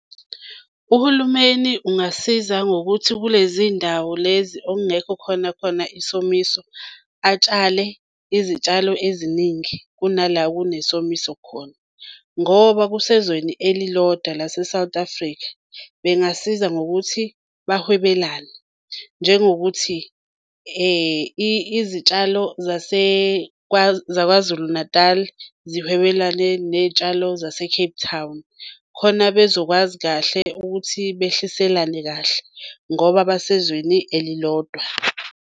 Uhulumeni ungasiza ngokuthi kulezi ndawo lezi okungekho khona khona isomiso atshale izitshalo eziningi kunala kunesomiso khona. Ngoba kusezweni elilodwa lase-South Africa bengasiza ngokuthi bahwebelane. Njengokuthi izitshalo zaKwaZulu Natal sihwebelane ney'tshalo zase-Cape Town khona bezokwazi kahle ukuthi behliselane kahle ngoba basezweni elilodwa.